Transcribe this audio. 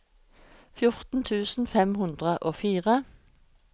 fjorten tusen fem hundre og fire